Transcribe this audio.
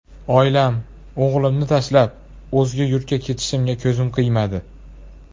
Oilam, o‘g‘limni tashlab, o‘zga yurtga ketishga ko‘zim qiymadi.